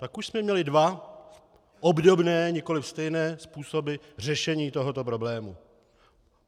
Pak už jsme měli dva obdobné, nikoli stejné, způsoby řešení tohoto problému.